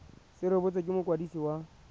se rebotswe ke mokwadisi wa